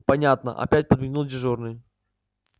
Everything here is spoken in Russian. понятно опять подмигнул дежурный